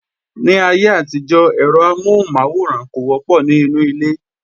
Ní ayé àtijó, ẹ̀rọ amohun maworan kò wọ́pọ̀ ní inú ilé